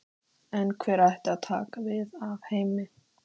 Í flestu basalti er nokkuð um díla.